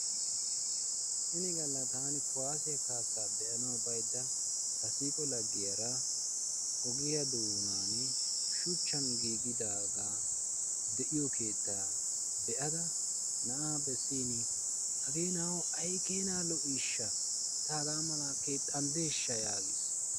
Ini galla taani kuwassiya kaassaa be'anaw baydda ta siiqo laggiyaara ogiyaa doonan shuchchan giigidaaga de'iyo keetta be'ada na'a bessin hage na'awu ay keena lo''ishsha! ta haga mala keexxanddeshsha yaagiis.